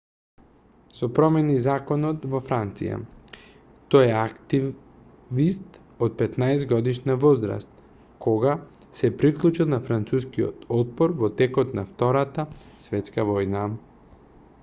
се промени законот во франција тој е активист од 15-годишна возраст кога се приклучил на францускиот отпор во текот на втората светска војна